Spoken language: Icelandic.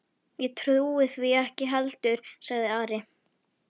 Ég trúi því ekki heldur, sagði Ari.